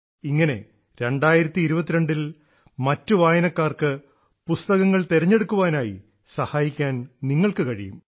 ഇങ്ങനെ 2022 ൽ മറ്റു വായനക്കാർക്ക് പുസ്തകങ്ങൾ തിരഞ്ഞെടുക്കാനായി സഹായിക്കാൻ നിങ്ങൾക്ക് കഴിയും